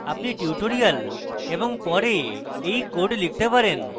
আপনি tutorial এবং পরে you code লিখতে পারেন